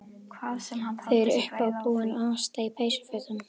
Þau eru uppábúin og Ásta í peysufötum.